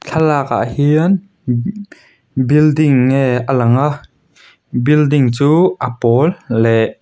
thlalakah hian building nge a lang a building chu a pawl leh --